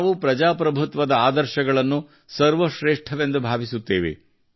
ನಾವು ಪ್ರಜಾಪ್ರಭುತ್ವದ ಆದರ್ಶಗಳನ್ನು ಸರ್ವಶ್ರೇಷ್ಠವೆಂದು ಭಾವಿಸುತ್ತೇವೆ